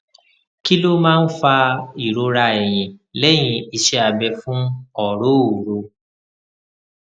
kí ló máa ń fa ìrora ẹyìn lehin iṣẹ abẹ fún ọrooro